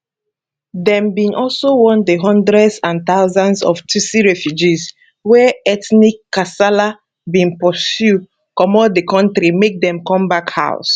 dem bin also want di hundreds and thousands of tutsi refugees wey ethnic kasala bin pursue comot di kontri make dem come back house